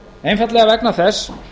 einfaldlega vegna þess